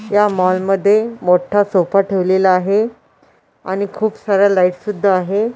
या मॉल मध्ये मोठा सोफा ठेवलेला आहे आणि खूप साऱ्या लाईट सुद्धा आहे.